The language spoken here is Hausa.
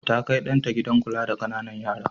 Ta kai ɗan ta gidan kula da ƙananan yara.